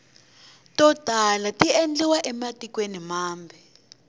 to tala tiendliwa ematikweni mambe